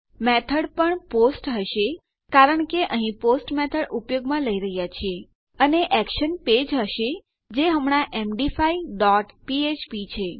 method method પણ post post હશે કારણ કે અહીં પોસ્ટ મેથડ ઉપયોગમાં લઇ રહ્યા છીએ અને એક્શન એક્શન પેજ હશે જે હમણાં એમડી5 ડોટ ફ્ફ્પ છે